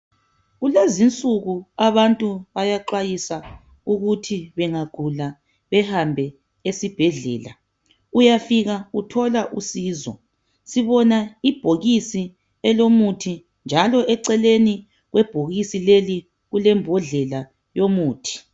Kulezinsuku abantu bayaxwayisa ukuthi bengagula behambe esibhedlela uyafika uyethola usizo. Sibona ibhokisi elomuthi njalo eceleni kwebhokisi leli kulembodlela yomuthi.